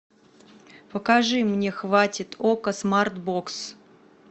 покажи мне хватит окко смарт бокс